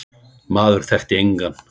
Maður þekkti engan.